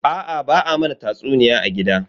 Aa ba a mana tatsuniya a gida.